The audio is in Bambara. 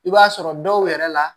I b'a sɔrɔ dɔw yɛrɛ la